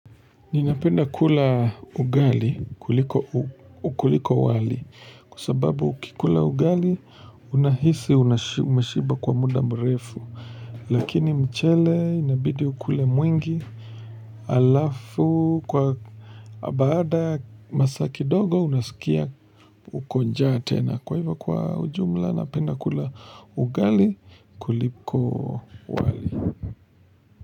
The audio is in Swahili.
Ninapenda kula ugali kuliko wali kwa sababu ukikula ugali unahisi umeshiba kwa muda mrefu Lakini mchele inabidi ukule mwingi alafu kwa baada masaa kidogo unaskia uko njaa tena kwa hivyo kwa ujumla napenda kula ugali kuliko wali.